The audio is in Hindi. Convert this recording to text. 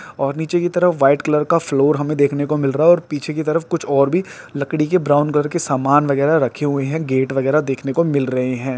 और नीचे की तरफ वाइट कलर का फ्लोर हमे देखने को मिल रहा है और पीछे की तरफ कुछ और भी लकड़ी के ब्राउन कलर के सामान वगेरा रखे हुए हैं गेट वगेरा देखने को मिल रहे हैं।